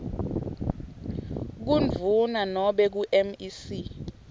kundvuna nobe kumec